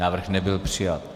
Návrh nebyl přijat.